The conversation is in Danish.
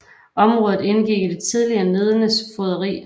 Området indgik i det tidligere Nedenes fogderi